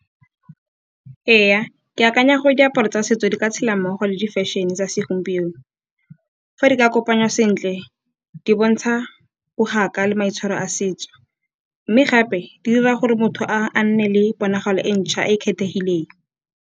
Ee, ke akanya gore diaparo tsa setso di ka tshela mmogo le di-fashion-e tsa segompieno. Fa di ka kopanywa sentle di bontsha bogaka le maitshwaro a setso, mme gape di dira gore motho a nne le ponagalo e ntšhwa e e kgethegileng.